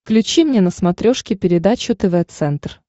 включи мне на смотрешке передачу тв центр